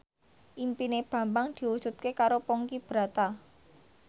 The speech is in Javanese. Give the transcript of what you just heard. impine Bambang diwujudke karo Ponky Brata